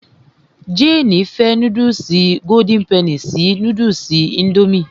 Jéènì fẹ́ núdùsì golden penny sí núdùsì indomie